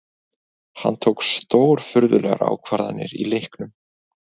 Hann tók stórfurðulegar ákvarðanir í leiknum